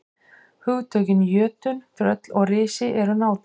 Hugtökin jötunn, tröll og risi eru nátengd.